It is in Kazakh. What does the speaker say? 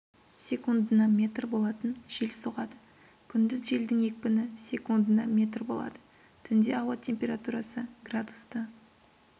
секундына метр болатын жел соғады күндіз желдің екпіні секундына метр болады түнде ауа температурасы градусты